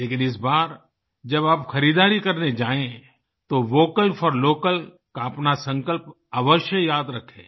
लेकिन इस बार जब आप खरीदारी करने जायें तो वोकल फोर लोकल का अपना संकल्प अवश्य याद रखें